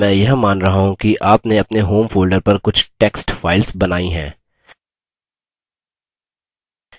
इस समय मैं यह मान रहा हूँ कि आपने अपने home folder पर कुछ text files बनायीं हैं